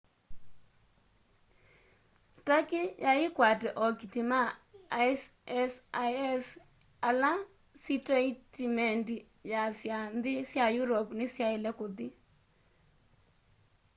turkey yai ikwate ookiti ma isis ala siteitimendi yaasya nthi sya european nisyalea kuthi